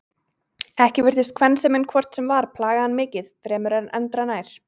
Ekki virtist kvensemin hvort sem var plaga hann mikið fremur en endranær.